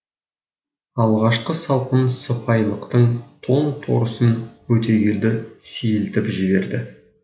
алғашқы салқын сыпайылықтың тоң торысын өтегелді сейілтіп жіберді